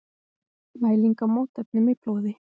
Mæling á mótefnum í blóði.